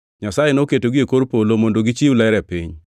Nyasaye noketogi e kor polo mondo gi chiw ler e piny,